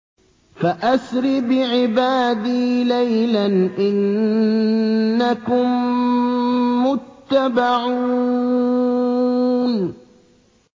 فَأَسْرِ بِعِبَادِي لَيْلًا إِنَّكُم مُّتَّبَعُونَ